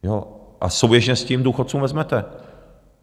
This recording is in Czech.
A souběžně s tím důchodcům vezmete.